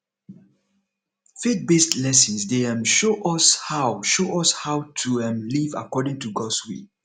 faithbased lessons dey um show us how show us how to um live according to gods will